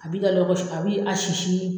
A bi ka lɔgɔ si a bi a sisi